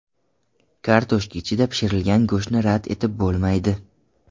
Kartoshka ichida pishirilgan go‘shtni rad etib bo‘lmaydi.